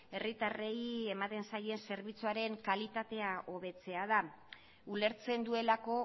herritarrei ematen zaien zerbitzuaren kalitatea hobetzea da ulertzen duelako